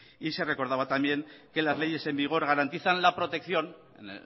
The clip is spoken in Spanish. y se recordaba también que las leyes en vigor garantizan la protección en